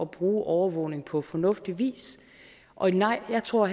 bruge overvågning på fornuftig vis og nej jeg tror